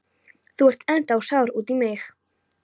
Þú ert ennþá sár út í mig.